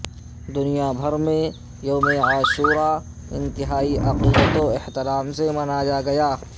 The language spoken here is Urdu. دنیا بھر میں یوم عاشور انتہائی عقیدت و احترام سے منایاگیا